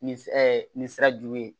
Nin nin sira ju ye